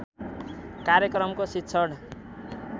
कार्यक्रमको शिक्षण